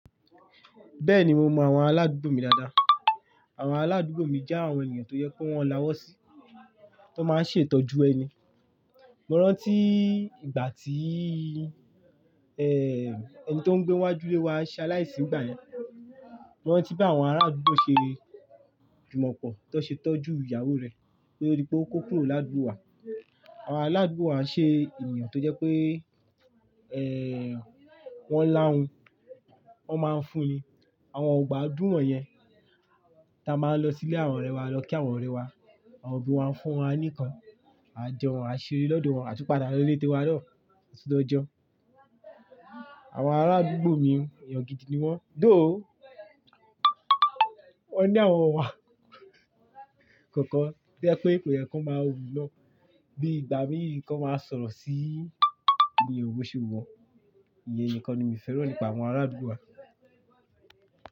Bẹ́ẹ̀ni mo mọ àwọn aládùúgbò mi dáadáa. Àwọn aládùúgbò mi jẹ́ àwọn ènìyàn tó yẹ kó wọn láwọ́ sí, tó máa ń ṣe ìtọ́jú ẹni. Mo rántí ìgbà tí, ẹ́, ẹni tó ń gbé iwájú ilé wa ṣe aláìsí ìgbà yẹn. Mo rántí bí àwọn ará àdúgbò ṣe jùmọ̀pọ̀, tó ṣe tọ́jú ìyàwó rẹ̀, koto ó dí pé ó kó kúrò ládùúgbò wa. Àwọn aládùúgbò wa ṣe ènìyàn tó jẹ́ pé, ẹ́, wọ́n lá hun, wọ́n máa ń fún ni. Àwọn ọgbà dúmọ̀ yẹn ta máa ń lọ sí ilé àwọn ọ̀rẹ́ wa lọ kí àwọn ọ̀rẹ́ wa, àwọn òbí wa ń fún wa níkan. A jẹun, a ṣeré lọ́dọ̀ wọn, a tún padà lọ ilé tíwa na a tun lo jeun. Àwọn aládùúgbò mi ènìyàn gidi ni wọ́n. Though. Wọ́n ní àwọn ọmọ wa kankan. To yẹ́ pé kò yẹ kó máa hun lọ́. Bí ìgbà míì ni wọ́n máa ń sọ̀rọ̀ sí eniyan bòse wun wọ́n. Ìyen nìkan ni mo fẹ́ràn nípa àwọn ará àdúgbò wa.